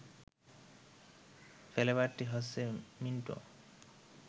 ফ্লেবারটি হচ্ছে মিন্ট